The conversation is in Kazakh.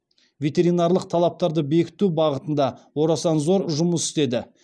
ветеринарлық талаптарды бекіту бағытында орасан зор жұмыс істеді